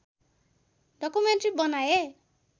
documentary बनाए